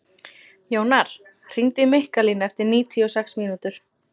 Jónar, hringdu í Mikkalínu eftir níutíu og sex mínútur.